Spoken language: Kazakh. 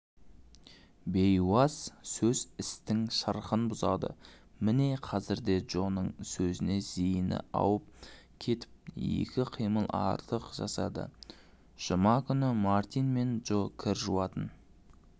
бейуаз сөз істің шырқын бұзады міне қазір де джоның сөзіне зейіні ауып кетіп екі қимыл артық жасадыжұма күні мартин мен джо кір жуатын